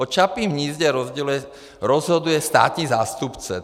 O Čapím hnízdě rozhoduje státní zástupce.